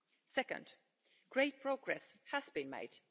Second, great progress has been made.